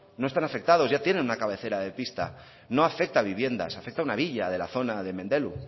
no están afectados ya tienen una cabecera de pista no afecta a viviendas afecta a una villa de la zona de mendelu